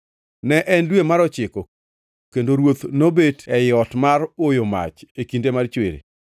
Ne en dwe mar ochiko kendo ruoth nobet ei ot mar oyo mach e kinde mar chwiri.